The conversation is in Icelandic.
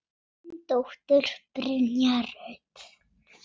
Þín dóttir, Brynja Rut.